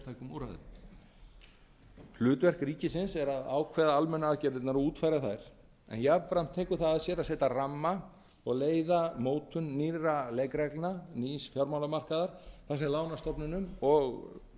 og sértækum úrræðum hlutverk ríkisins er að ákveða almennu aðgerðirnar og útfæra þær en jafnframt tekur það að sér að setja ramma og leiða mótun nýrra leikreglna nýs fjármálamarkaðar þar sem lánastofnunum og